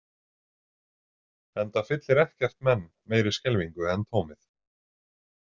Enda fyllir ekkert menn meiri skelfingu en tómið.